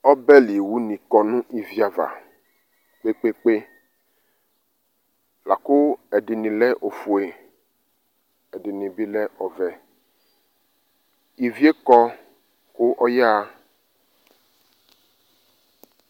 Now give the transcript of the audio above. Ɔbɛli wu nɩ ƙɔ nʋ ivi ava ƙpeƙpeƙpeLaƙʋ ɛɖɩnɩ lɛ ofue ,ɛɖɩnɩ bɩ lɛ ɔvɛIvie ƙɔ ƙʋ ɔƴaha